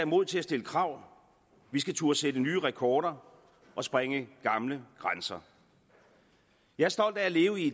mod til at stille krav vi skal turde sætte nye rekorder og sprænge gamle grænser jeg er stolt af at leve i